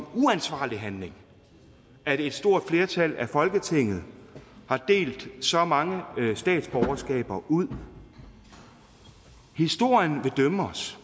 uansvarlig handling at et stort flertal i folketinget har delt så mange statsborgerskaber ud historien vil dømme os